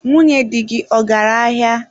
Nwunye dị gị, ọ gara ahịa?